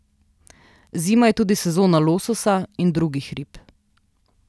Zima je tudi sezona lososa in drugih rib.